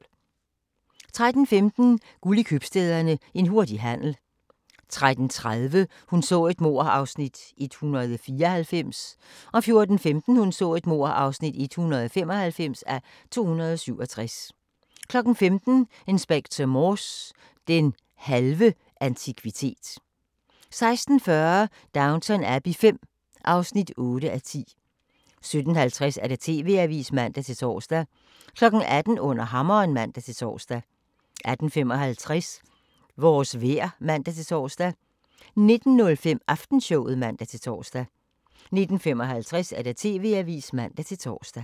13:15: Guld i Købstæderne – En hurtig handel 13:30: Hun så et mord (194:267) 14:15: Hun så et mord (195:267) 15:00: Inspector Morse: Den halve antikvitet 16:40: Downton Abbey V (8:10) 17:50: TV-avisen (man-tor) 18:00: Under hammeren (man-tor) 18:55: Vores vejr (man-tor) 19:05: Aftenshowet (man-tor) 19:55: TV-avisen (man-tor)